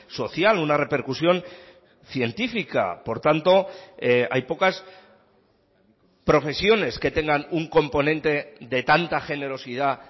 social una repercusión científica por tanto hay pocas profesiones que tengan un componente de tanta generosidad